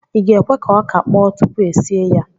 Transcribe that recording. ị ga-ekwe ka ọka kpọọ tupu e sie ya?